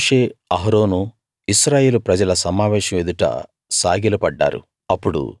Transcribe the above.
అప్పుడు మోషే అహరోను ఇశ్రాయేలు ప్రజల సమావేశం ఎదుట సాగిలపడ్డారు